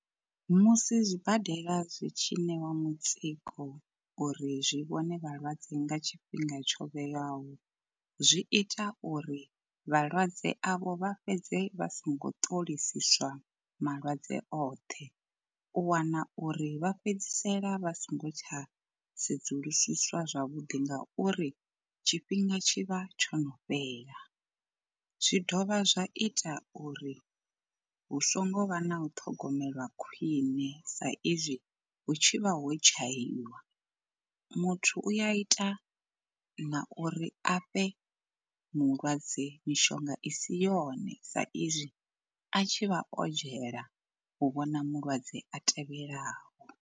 Musi zwibadela zwi tshi ṋewa mutsiko uri zwi vhone vhalwadze nga tshifhinga tsho vhewaho zwi ita uri vhalwadze avho vha fhedze vha songo ṱolisiswa malwadze oṱhe. U wana uri vha fhedzisela vha so ngo tsha sedzulusiswa zwavhuḓi nga uri tshifhinga tshivha tsho no fhela, zwi dovha zwa ita uri hu so ngo vha na u ṱhogomelwa khwine sa izwi hu tshi vha ho dzhaiwa. Muthu uya ita na uri a fhe mulwadze mishonga i si yone sa izwi a tshi vha o dzhaela u vhona mulwadze a tevhelaho.